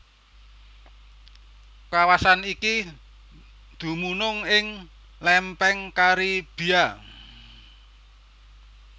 Kawasan iki dumunung ing Lèmpèng Karibia